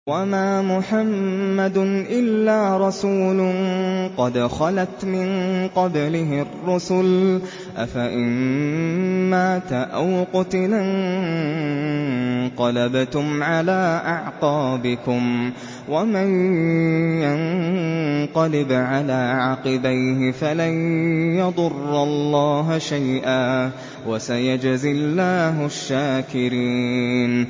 وَمَا مُحَمَّدٌ إِلَّا رَسُولٌ قَدْ خَلَتْ مِن قَبْلِهِ الرُّسُلُ ۚ أَفَإِن مَّاتَ أَوْ قُتِلَ انقَلَبْتُمْ عَلَىٰ أَعْقَابِكُمْ ۚ وَمَن يَنقَلِبْ عَلَىٰ عَقِبَيْهِ فَلَن يَضُرَّ اللَّهَ شَيْئًا ۗ وَسَيَجْزِي اللَّهُ الشَّاكِرِينَ